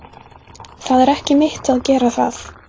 Það er ekki mitt að gera það.